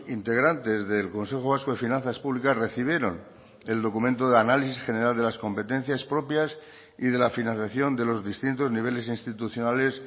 integrantes del consejo vasco de finanzas públicas recibieron el documento de análisis general de las competencias propias y de la financiación de los distintos niveles institucionales